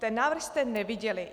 "Ten návrh jste neviděli.